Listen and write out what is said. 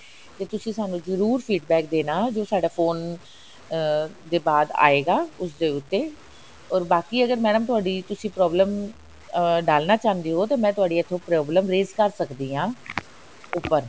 ਤੇ ਤੁਸੀਂ ਸਾਨੂੰ ਜਰੂਰ feedback ਦੇਣਾ ਜੋ ਸਾਡਾ phone ਅਹ ਦੇ ਬਾਅਦ ਆਏਗਾ ਉਸਦੇ ਉੱਤੇ or ਬਾਕੀ ਅਗਰ mam ਤੁਹਾਡੀ ਤੁਸੀਂ problem ਅਹ ਡਾਲਨਾ ਚਾਹੁੰਦੇ ਹੋ ਤਾਂ ਮੈਂ ਤੁਹਾਡੀ ਇੱਥੋਂ problem erase ਕਰ ਸਕਦੀ ਹਾਂ ਉੱਪਰ